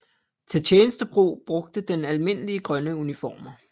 Til tjenestebrug brugte den almindelige grønne uniformer